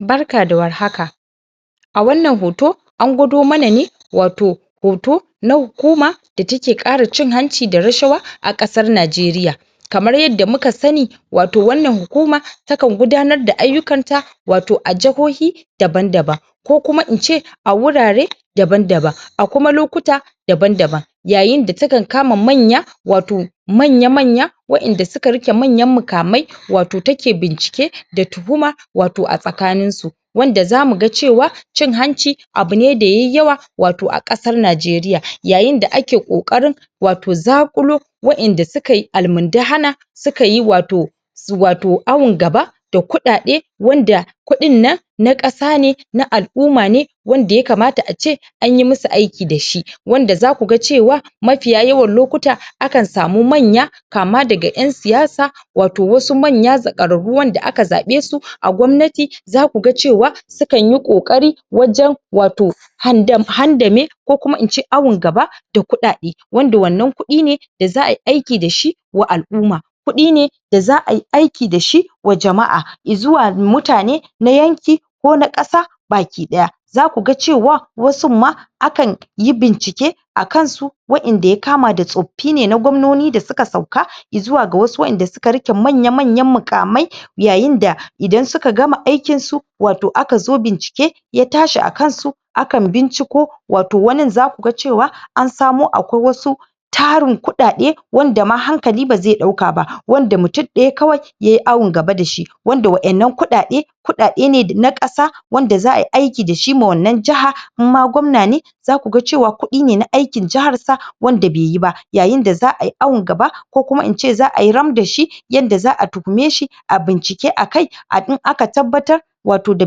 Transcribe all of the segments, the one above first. barka da war haka a wannan hoto angwado mana ne wato hoto na hukuma da take ƙara cin hanci da rashawa a ƙasar nigeria kamar yanda muka sani wato wannan hukuma takan gudanar da aiyukan ta wato a jahohi daban daban ko kuma ince a wurare daban daba a kuma lokuta daban daban yayin da take kama manya wato manya manya wa inda suka rike manyan muƙamai wato take bincike da tuhuma wato a tsakaninsu wanda zamu ga cewa cin hanci abu ne da yayi yawa wato a ƙasar nageria yayin da ake ƙoƙarin wato zakulo wa inda sukayi almundahana sukayi wato awan gaba da kuɗaɗe wanda kuɗin nan na ƙasa ne na al'umma ne wanda ya kamata ace anyi musu aiki dashi wanda zaku cewa mafiya yawan lokuta akan samu manya kama daga ƴan siyasa wato wasu manya zaƙararru wanda aka zaɓesu a gwamnati zaku ga cewa su kanyi ƙoƙari wajan wato handame ko kuma ince awan gaba da kuɗaɗe wanda wannan kuɗi ne da za'ai aiki dashi wa al'umma kuɗi ne da za'ai aiki dashi wa jama'a izuwa mutane na yanki ko na ƙasa baki ɗaya zaku ga cewa wasunma akanyi bincike a kansu wa inda ya kama da tsoffine na gwamnoni da suka sauka izuwa ga wasu wa inda suka rike manya manyan muƙamai yayin da idan suka gama aikinsu wato aka zo bincike ya tashi a kansu akan binciko wato wanin zaku ga cewa ansamo akwai wasu tarin kuɗaɗe wanda ma hankali bazai ɗauka ba wanda mutum ɗaya kawai yayi awan gaba dashi wanda wa in nan kuɗaɗe kuɗaɗe ne na ƙasa wanda za ai aiki dashi ma wannan jaha in ma gwamnane za kuga kuɗi ne na aikin jaharsa wanda beyi ba yayin da za'ai awan gaba ko kuma ince za ai ram dashi yadda za a tuhumeshi ae bincike akai in aka tabbatar wato da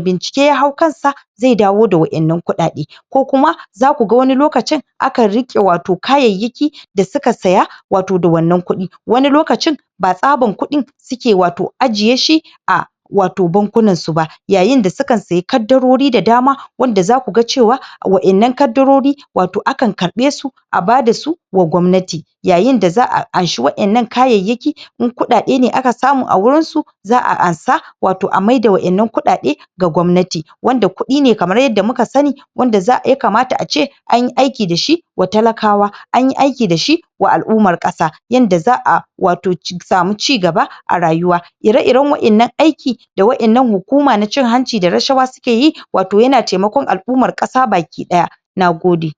bincike ya hau kansa zai dawo da wa innan kuɗaɗe ko kuma zakuga wani lokacin akan rike wato kayayyaki da suke siya wato da wannan kuɗi ba tsabar kuɗin suke wato suke ajje shi a wato bankunan su ba yayin da sukan siye kadarori da dama wanda zaku ga cewa wa innan kadarori wato akan karɓesu a bada su wa gwamnati yayin da za a anshi wa innan kayayyaki in kuɗaɗe ne aka samu a wurin su za a ansa wato a maida waɗannan kuɗa ɗe ga gwamnati wanda kuɗi ne kamar yanda muka sani wanda ya kamata ace anyi aiki dashi wa talakawa anyi aiki dashi wa al'ummar ƙasa yanda za a samu wato cigaba a rayuwa ire iran wa innan aiki da wa innan hukuma ta cin hanci da rashawa sukeyi wato yana taikakon al'ummar ƙasa baki ɗaya nagode